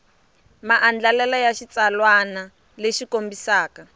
maandlalelo ya xitsalwana lexi kombisaka